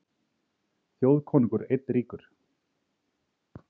Þjóðkonungur einn ríkur.